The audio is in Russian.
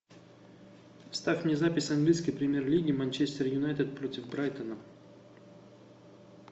ставь мне запись английской премьер лиги манчестер юнайтед против брайтона